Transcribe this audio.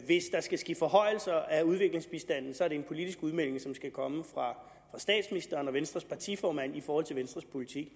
hvis der skal ske forhøjelser af udviklingsbistanden er det en politisk udmelding som skal komme fra statsministeren og venstres partiformand i forhold til venstres politik